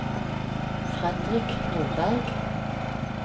Frederik Nordberg